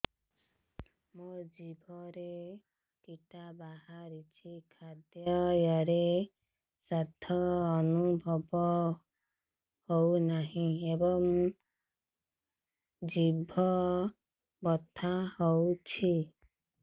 ମୋ ଜିଭରେ କିଟା ବାହାରିଛି ଖାଦ୍ଯୟରେ ସ୍ୱାଦ ଅନୁଭବ ହଉନାହିଁ ଏବଂ ଜିଭ ବଥା ହଉଛି